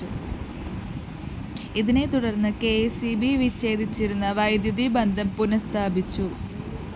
ഇതിനെതുടര്‍ന്ന് K S E B വിച്ഛേദിച്ചിരുന്ന വൈദ്യുതി ബന്ധം പുനഃസ്ഥാപിച്ചു